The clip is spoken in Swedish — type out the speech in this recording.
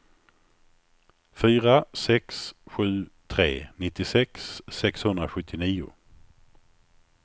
fyra sex sju tre nittiosex sexhundrasjuttionio